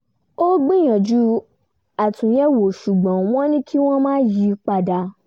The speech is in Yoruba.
ó gbìyànjú àtúnyẹ̀wò ṣùgbọ́n wọ́n ní kí wọ́n má yí i padà